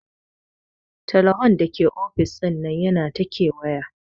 Teleho Dake ofis dinnan yana ta kewaya.